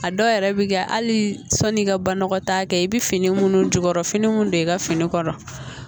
A dɔw yɛrɛ bɛ kɛ hali sanni i ka banakɔtaa kɛ i bɛ fini minnu jukɔrɔ finiw don i ka fini kɔrɔ